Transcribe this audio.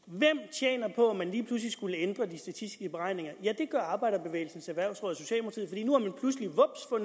tjener på at man lige pludselig skulle ændre de statistiske beregninger ja det gør arbejderbevægelsens erhvervsråd